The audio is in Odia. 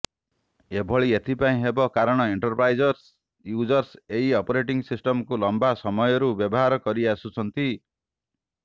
ଏଭଳି ଏଥିପାଇଁ ହେବ କାରଣ ଏଣ୍ଟରପ୍ରାଇଜ୍ ୟୁଜର୍ସ ଏହି ଅପରେଟିଂ ସିଷ୍ଟମକୁ ଲମ୍ବା ସମୟରୁ ବ୍ୟବହାର କରିଆସୁଛନ୍ତି